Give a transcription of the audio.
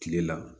Kile la